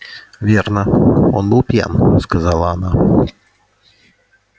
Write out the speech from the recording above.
верно он был пьян сказала она